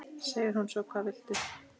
segir hún svo: Hvað viltu?